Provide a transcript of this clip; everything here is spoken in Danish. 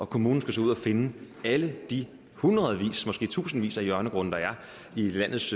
kommunen skal ud at finde alle de hundredvis måske tusindvis af hjørnegrunde der er i landets